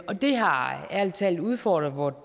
og det har ærlig talt udfordret vort